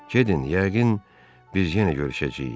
Gedin, yəqin biz yenə görüşəcəyik.